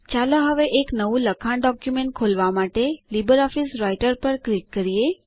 ચાલો હવે એક નવું લખાણ ડોક્યુમેન્ટ ખોલવા માટે લીબરઓફીસ રાઈટર પર ક્લિક કરીએ